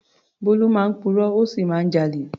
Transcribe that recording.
Bólú máa ń purọ́, ó sì máa ń jalè.